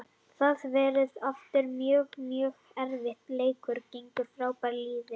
Það verður aftur mjög, mjög erfiður leikur gegn frábæru liði.